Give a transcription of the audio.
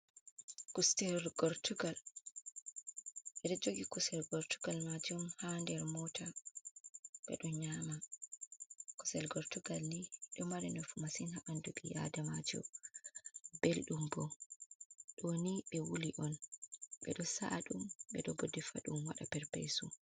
Kusel gortugal. Ɓedo jogi kusel gortugal majum ha nder mota bedo nyama. Kusel gortugal ni do mara nafu masin ha ɓandu bi adamajo, beldum, bo ɗoni ɓe wuli on bedo sa’adum ɓe do bo defadum wada perpesu.